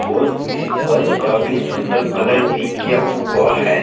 और इस पर काफी सुंदर कलर भी किया हुआ है।